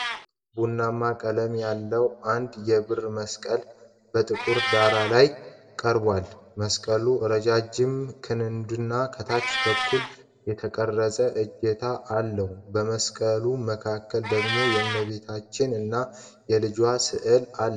ቡናማ ቀለም ያለው አንድ የብር መስቀል በጥቁር ዳራ ላይ ቀርቧል፡፡ መስቀሉ ረጃጅም ክንድና ከታች በኩል የተቀረጸ እጀታ አለው፡፡ በመስቀሉ መካከል ደግሞ የእመቤታችን እና የልጇ ሥዕል አለ፡፡